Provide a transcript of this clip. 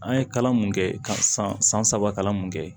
An ye kalan mun kɛ ka san san saba kalan mun kɛ